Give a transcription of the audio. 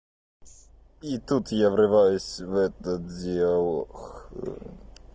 и тут я врываюсь в этот диалог